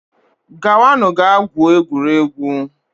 Gawanu gaa gwuo egwuregwu